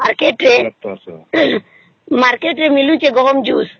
ବୋଇଲେ market ରେ market ରେ ମିଲୁଛେ ଗହମ juice